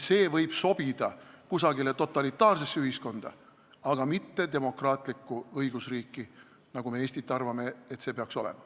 See võib sobida kusagile totalitaarsesse ühiskonda, aga mitte demokraatlikku õigusriiki, nagu meie arvates Eesti peaks olema.